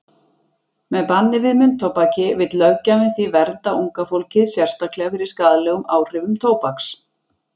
Með banni við munntóbaki vill löggjafinn því vernda unga fólkið sérstaklega fyrir skaðlegum áhrifum tóbaks.